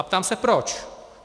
A ptám se proč.